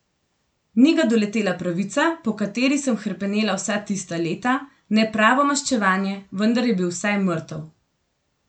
Ni ga doletela pravica, po kateri sem hrepenela vsa tista leta, ne pravo maščevanje, vendar je bil vsaj mrtev.